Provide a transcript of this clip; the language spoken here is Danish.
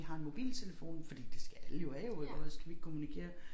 Vi har en mobiltelefon fordi det skal alle jo have jo iggå ellers kan vi ikke kommunikere